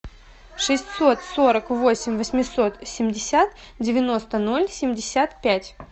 шестьсот сорок восемь восемьсот семьдесят девяносто ноль семьдесят пять